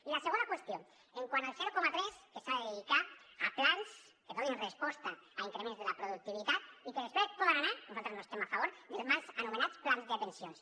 i la segona qüestió quant al zero coma tres que s’ha de dedicar a plans que donin resposta a increments de la productivitat i que després poden anar nosaltres no hi estem a favor als mal anomenats plans de pensions